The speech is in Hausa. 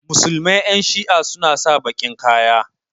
musulmai Yan shi'a suna sa bakin Kaya.